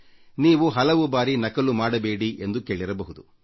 ನೀವು ಹಲವು ಬಾರಿ ನಕಲು ಮಾಡಬೇಡಿ ಎಂಬ ಉಪದೇಶ ಕೇಳಿರಬಹುದು